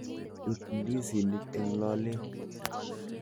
Ib ndizinik eng lolet.